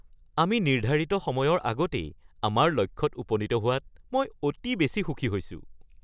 আমি নিৰ্ধাৰিত সময়ৰ আগতেই আমাৰ লক্ষ্যত উপনীত হোৱাত মই অতি বেছি সুখী হৈছো!